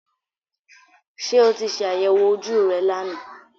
Ṣé o ti ṣe àyẹ̀wò ojú rẹ lánàá